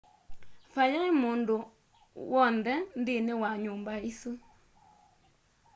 vayaĩ mũndũ wonthe nthĩnĩ wa nyumba ĩsu